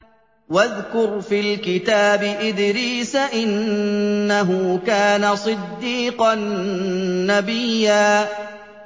وَاذْكُرْ فِي الْكِتَابِ إِدْرِيسَ ۚ إِنَّهُ كَانَ صِدِّيقًا نَّبِيًّا